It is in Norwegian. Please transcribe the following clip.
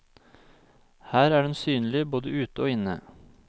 Her er den synlig både ute og inne.